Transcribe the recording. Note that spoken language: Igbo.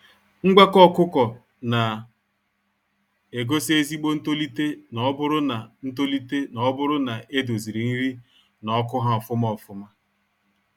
Ngwakọ ọkụkọ na egosi ezigbo ntolite n'oburu na ntolite n'oburu na e doziri nri na ọkụ ha ofụma ofụma.